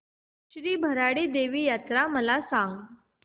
श्री भराडी देवी यात्रा मला सांग